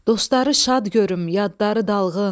Dostları şad görüm, yadları dalğın.